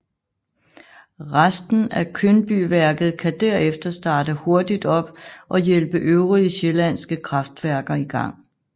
Resten af Kyndbyværket kan derefter starte hurtigt op og hjælpe øvrige sjællandske kraftværker i gang